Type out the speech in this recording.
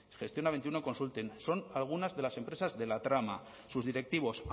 gestiona veintiuno consulting son algunas de las empresas de la trama sus directivos